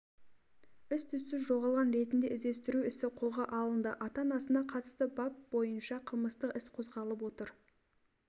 іс-түссіз жоғалған ретінде іздестіру ісі қолға алынды ата-анасына қатысты бап бойынша қылмыстық іс қозғалып отыр